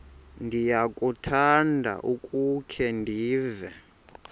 ndiyakuthanda ukukhe ndive